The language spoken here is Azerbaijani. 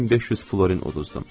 1500 florin uduzdum.